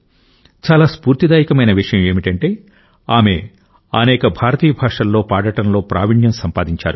చాలా స్ఫూర్తిదాయకమైన విషయం ఏమిటంటే ఆమె అనేక భారతీయ భాషలలో పాడటంలో ప్రావీణ్యం సంపాదించారు